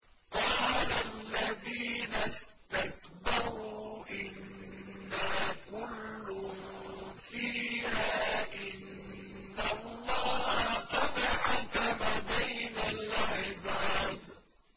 قَالَ الَّذِينَ اسْتَكْبَرُوا إِنَّا كُلٌّ فِيهَا إِنَّ اللَّهَ قَدْ حَكَمَ بَيْنَ الْعِبَادِ